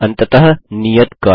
अंततः नियत कार्य